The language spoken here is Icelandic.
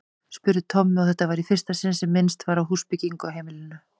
spurði Tommi, og þetta var í fyrsta sinn sem minnst var á húsbyggingu á heimilinu.